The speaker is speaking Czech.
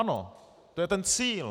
Ano, to je ten cíl.